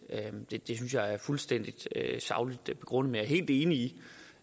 det det synes jeg er fuldstændig sagligt begrundet jeg er helt enig i